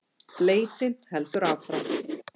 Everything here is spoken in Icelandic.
Leitin heldur áfram